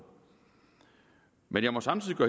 men jeg må samtidig på